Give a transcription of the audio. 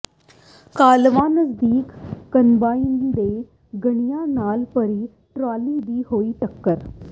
ਕਾਹਲਵਾਂ ਨਜ਼ਦੀਕ ਕੰਬਾਈਨ ਤੇ ਗੰਨਿਆਂ ਨਾਲ ਭਰੀ ਟਰਾਲੀ ਦੀ ਹੋਈ ਟੱਕਰ